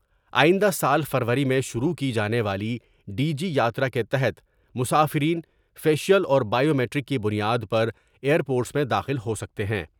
آئندہ سال فروری میں شروع کی جانے والی ڈی بی یاترا کے تحت مسافرین فیشیل اور بائیومیٹرک کی بنیاد پر ایئر پورٹ میں داخل ہو سکتے ہیں ۔